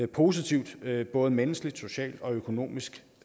positivt både menneskeligt socialt og økonomisk